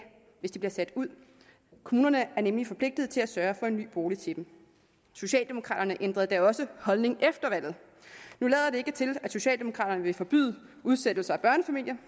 hvis de bliver sat ud kommunerne er nemlig forpligtet til at sørge for en ny bolig til dem socialdemokraterne ændrede da også holdning efter valget nu lader det ikke til at socialdemokraterne vil forbyde udsættelse af børnefamilier